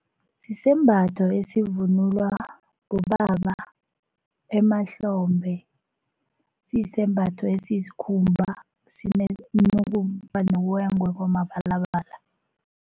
Sisembatho esivunulwa bobaba emahlombe, siyisembatho esiyisikhumba nokuba noboya mabalabala.